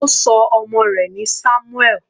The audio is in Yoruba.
Ó ṣọ ọmọ rẹ̀ ní Samuel.